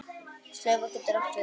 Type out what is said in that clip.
Slaufa getur átt við